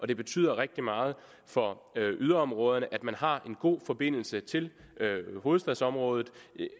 det betyder rigtig meget for yderområderne at man har en god forbindelse til hovedstadsområdet